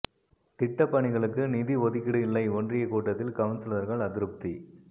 திட்டப் பணிகளுக்கு நிதி ஒதுக்கீடு இல்லை ஒன்றிய கூட்டத்தில் கவுன்சிலர்கள் அதிருப்தி